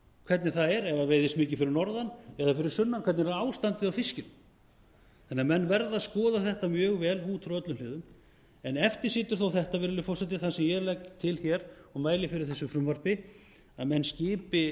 hvernig það er ef það veiðist mikið fyrir norðan eða fyrir sunnan hvernig er ástandið á fiskinum menn verða því að skoða þetta mjög vel út frá öllum hliðum eftir situr þó þetta virðulegi forseti það sem ég legg til hér og mæli fyrir þessu frumvarpi að menn skipi